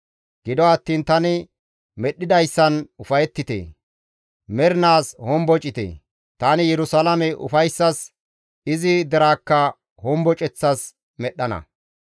Gido attiin tani medhdhizayssan ufayettite; mernaas hombocite; tani Yerusalaame ufayssas, izi deraakka homboceththas medhdhana.